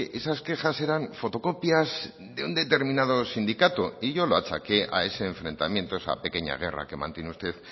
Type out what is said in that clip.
esas quejas eran fotocopias de un determinado sindicato y yo lo achaque a ese enfrentamiento esa pequeña guerra que mantiene usted